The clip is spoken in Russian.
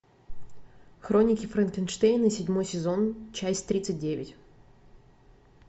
хроники франкенштейна седьмой сезон часть тридцать девять